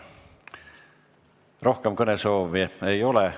Rohkem kõnesoove ei ole.